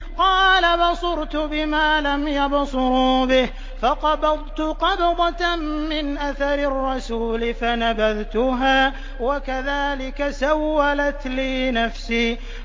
قَالَ بَصُرْتُ بِمَا لَمْ يَبْصُرُوا بِهِ فَقَبَضْتُ قَبْضَةً مِّنْ أَثَرِ الرَّسُولِ فَنَبَذْتُهَا وَكَذَٰلِكَ سَوَّلَتْ لِي نَفْسِي